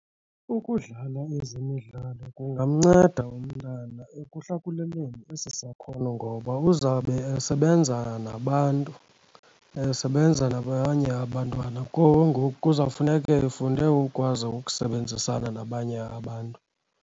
Ukudlala ezemidlalo kungamnceda umntana ekuhlakuleleni esi sakhono ngoba uzawube esebenza nabantu, esebenza nabanye abantwana, ke ngoku kuzawufuneke efunde ukwazi ukusebenzisana nabanye abantu.